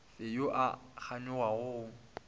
fe yo a kganyogago go